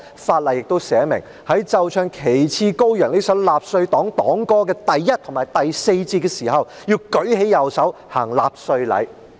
法例亦訂明，在奏唱"旗幟高揚"這首納粹黨黨歌的第一節和第四節時，要舉起右手行納粹禮。